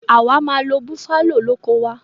Àwa máa lo buffalo lóko wa